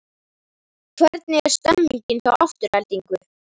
Hvernig er stemmingin hjá Aftureldingu?